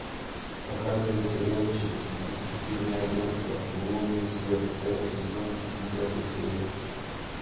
показывай сериальчик детективное агенство лунный свет пятый сезон десятая серия